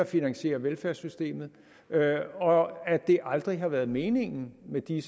finansierer velfærdssystemet og at det aldrig har været meningen med de